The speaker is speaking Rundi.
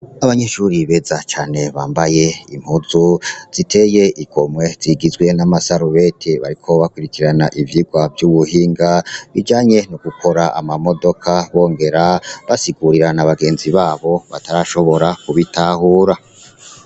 Abanyeshuri beza cane bambaye impunzu ziteye igomwe zigizwe n'amasarubeti , bariko bakurikirana ivyigwa vy'ubuhinga bijanye no gukora amamodoka bongera basigurira n’abagenzi babo batarashobora kubitahura.